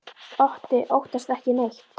Otti óttast ekki neitt!